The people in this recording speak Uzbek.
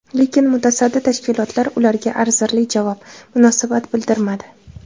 Lekin mutasaddi tashkilotlar ularga arzirli javob, munosabat bildirmadi.